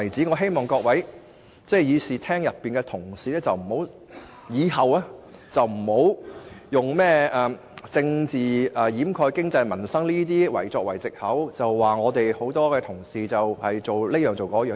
我希望會議廳內各位同事日後不要再用甚麼"政治掩蓋經濟民生"等藉口，指責我們多位同事的做法。